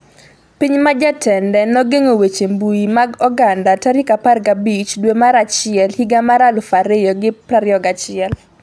Piny ma jatende nogeng'o weche mbui mag oganda 15 dwe mar achiel higa mar 2021